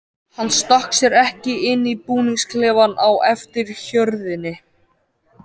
Hann stakk sér ekki inn í búningsklefann á eftir hjörðinni.